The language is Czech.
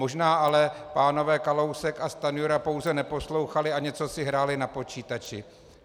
Možná ale pánové Kalousek a Stanjura pouze neposlouchali a něco si hráli na počítači.